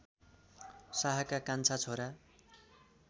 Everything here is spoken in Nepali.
शाहका कान्छा छोरा